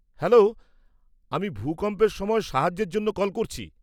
Hello, আমি ভূকম্পের সময় সাহায্যের জন্য কল করছি।